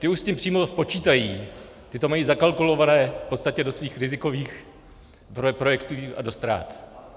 Ti už s tím přímo počítají, ti to mají zakalkulováno v podstatě do svých rizikových projektů a do ztrát.